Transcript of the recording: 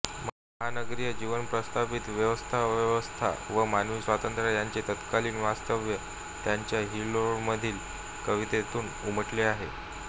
महानगरीय जीवन प्रस्थापित व्यवस्थाअव्यवस्था व मानवी स्वातंत्र्य यांचे तत्कालीन वास्तव त्यांच्या हिल्लोळमधील कवितांतून उमटले आहे